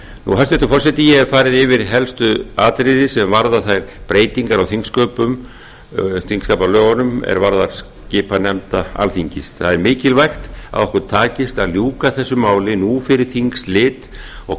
hæstvirtur forseti ég haf farið yfir helstu atriði sem varða þær breytingar á þingsköpum þingskapalögunum er varða skipan nefnda alþingis það er mikilvægt að okkur takist að ljúka þessu máli nú fyrir þingslit og